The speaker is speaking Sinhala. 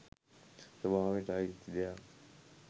ස්වභාවයට අයිති දෙයක්